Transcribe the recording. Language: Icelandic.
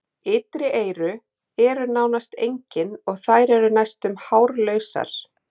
Ytri eyru er nánast engin og þær eru næstum hárlausar.